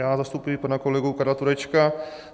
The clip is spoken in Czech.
Já zastupuji pana kolegu Karla Turečka.